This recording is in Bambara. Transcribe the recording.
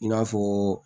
I n'a fɔ